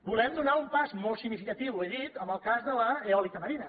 volem donar un pas molt significatiu ho he dit en el cas de l’eòlica marina